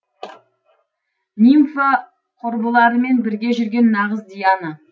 нимфа құрбыларымен бірге жүрген нағыз диана